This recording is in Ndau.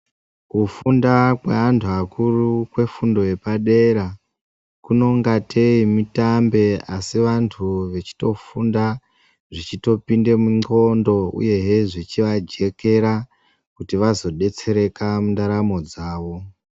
Kufunda kweantu akuru kwefundo yepadera kunongatei mutambe asi vantu vechitofunda zvichitopinde mundxondo uyehe zvichivajekera kuti vazodetsereka mundaramo dzavo.